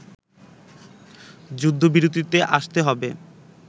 যুদ্ধবিরতিতে আসতে হবে